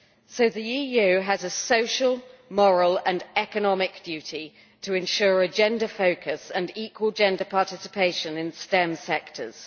So the EU has a social, moral and economic duty to ensure a gender focus and equal gender participation in STEM sectors.